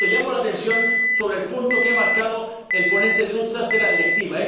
Por tanto, llamo la atención sobre el punto que ha señalado el ponente Droutsas de la Directiva.